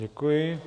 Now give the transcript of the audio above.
Děkuji.